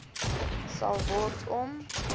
sal word om